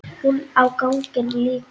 Hún á ganginn líka.